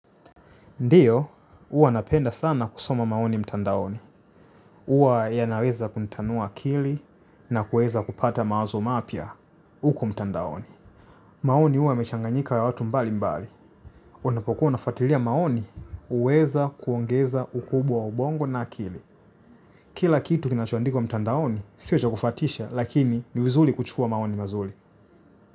Ndio huwa napenda sana kusoma maoni mtandaoni huwa yanawezakunitanua akili na kuweza kupata maoni mapya uku mtandaoni. Maoni huwa yamechangayika na watu mbali mbali. Unapokuwa unafatilia maoni, uweza kuongeza ukubwa wa ubongo na akili. Kila kitu kinacho andikwa mtandaoni, sio cha kufatisha, lakini niwizuli kuchukua maoni mazuli.